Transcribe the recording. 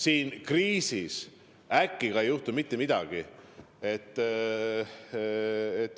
Siin kriisis "äkki" peale ei juhtu mitte midagi.